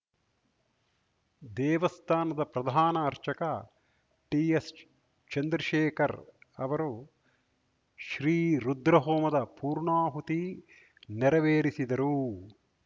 ದೇವಸ್ಥಾನದ ಪ್ರಧಾನ ಅರ್ಚಕ ಟಿಎಸ್‌ ಚಂದ್ರಶೇಖರ್‌ ಅವರು ಶ್ರೀ ರುದ್ರಹೋಮದ ಪೂರ್ಣಾಹುತಿ ನೆರವೇರಿಸಿದರು